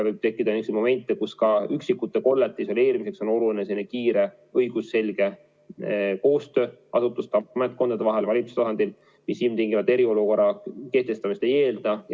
Võib tekkida momente, kus ka üksikute kollete isoleerimiseks on oluline kiire õigusselge koostöö asutuste vahel, ametkondade vahel ja valitsuse tasandil, mis ilmtingimata eriolukorra kehtestamist ei eelda.